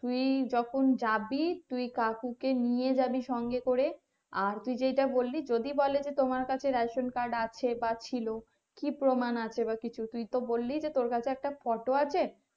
তুই যখন যাবি তুই কাকুকে নিয়ে যাবি সঙ্গে করে আর তুই যেইটা বললি যদি বলে যে তোমার কাছে ration card আছে বা ছিল কি প্রমাণ আছে বা কিছু তুই তো বললি যে তোর কাছে একটা photo আছে,